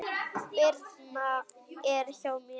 Birna er hjá mér.